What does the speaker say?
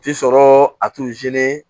Ti sɔrɔ a